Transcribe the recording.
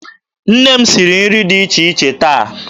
Nne m siri nri dị iche iche taa.